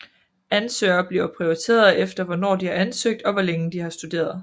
Ansøgere bliver prioriteret efter hvornår de har ansøgt og hvor længe de har studeret